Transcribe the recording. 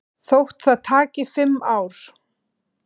Þótt það taki fimm ár.